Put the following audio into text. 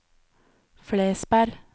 Flesberg